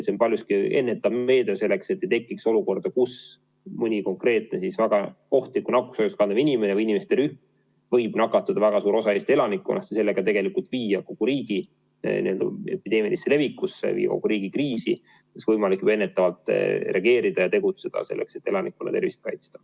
See on paljuski ennetav meede, et ei tekiks olukorda, kus mõni konkreetne väga ohtlikku nakkushaigust kandev inimene või inimeste rühm võib nakatada väga suurt osa Eesti elanikkonnast ja sellega tegelikult viia kogu riigi kriisi, millele oleks võimalik ennetavalt reageerida ja tegutseda selleks, et elanikkonna tervist kaitsta.